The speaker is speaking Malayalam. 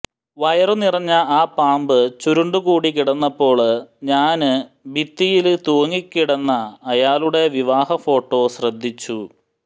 വയറു നിറഞ്ഞ ആ പാമ്പ് ചുരുണ്ടുകൂടി കിടന്നപ്പോള് ഞാന് ഭിത്തിയില് തുങ്ങിക്കിടന്ന അയാളുടെ വിവാഹ ഫോട്ടോ ശ്രദ്ധിച്ചു